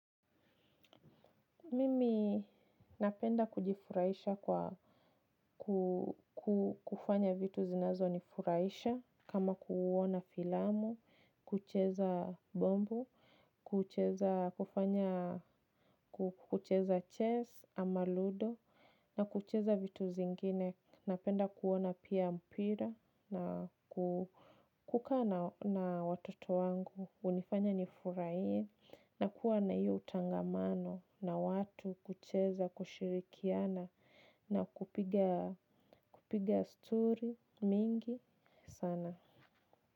Mimi napenda kujifurahisha kwa kufanya vitu zinazo nifuraisha. Kama kuona filamu, kucheza bombo, kucheza chess ama ludo na kucheza vitu zingine. Napenda kuona pia mpira na kukaa na watoto wangu unifanya nifurahie. Na kuwa na iyo utangamano na watu kucheza kushirikiana na kupinga kupiga stori mingi sana.